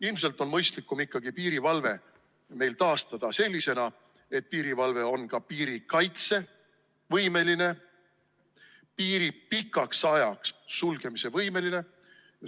Ilmselt on mõistlikum ikkagi piirivalve taastada sellisena, et piirivalve oleks ka piirikaitsevõimeline, võimeline piiri pikaks ajaks sulgema.